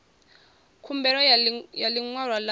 khumbelo ya ḽi ṅwalo ḽa